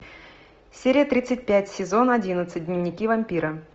серия тридцать пять сезон одиннадцать дневники вампира